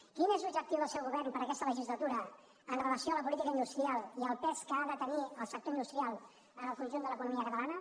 quin és l’objectiu del seu govern per a aquesta legislatura amb relació a la política industrial i al pes que ha de tenir el sector industrial en el conjunt de l’economia catalana